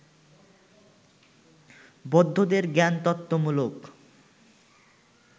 বৌদ্ধদের জ্ঞানতত্ত্বমূলক